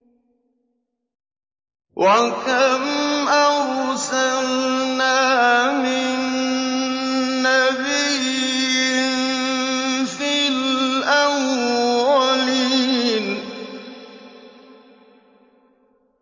وَكَمْ أَرْسَلْنَا مِن نَّبِيٍّ فِي الْأَوَّلِينَ